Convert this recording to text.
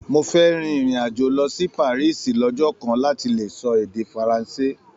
Mó fẹ rìn irin-ajo lọ sí Parisi lọjọ kan láti lè sọ èdè furanse.